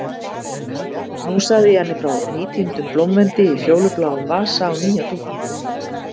Nú sagði ég henni frá nýtíndum blómvendi í fjólubláum vasa á nýja dúknum.